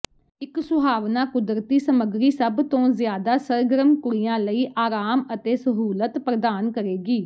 ਇੱਕ ਸੁਹਾਵਣਾ ਕੁਦਰਤੀ ਸਮਗਰੀ ਸਭ ਤੋਂ ਜ਼ਿਆਦਾ ਸਰਗਰਮ ਕੁੜੀਆਂ ਲਈ ਆਰਾਮ ਅਤੇ ਸਹੂਲਤ ਪ੍ਰਦਾਨ ਕਰੇਗੀ